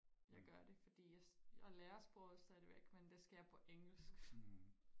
jeg gør det fordi jeg jeg lærer sproget stadigvæk men det sker på engelsk